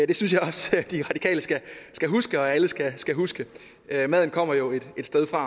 det synes jeg også at de radikale skal huske og at alle skal skal huske maden kommer jo et sted fra og